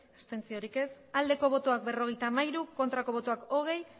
abstentzioa berrogeita hamairu bai hogei